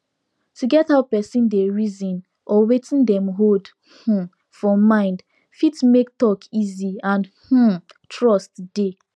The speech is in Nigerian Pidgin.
to get how persin dey reason or wetin dem hold um for mind fit make talk easy and um trust dey